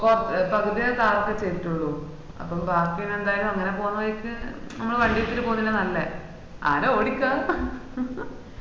പകുതി വരാ താറ് ഒക്കെ ചെയ്ദുക്കുള്ളൂ അപ്പൊ ബാക്കി എനി എന്തായലും അങ്ങനെ പോവ്ന്ന വഴിക്ക് അമ്മാൾ വണ്ടി എടുത്തിട്ട് പോവന്നല്ലേ നല്ലേ ആര ഓടിക്